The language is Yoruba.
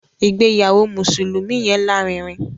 ìgbéyàwó mùsùlùmí yẹn lárinrin.